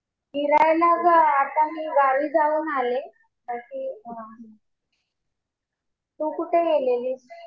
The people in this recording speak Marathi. फिरायला अगं आता मी गावी जाऊन आले तशी. तू कुठे गेलेली?